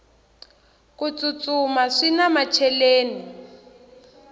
ku tsutsuma swina macheleni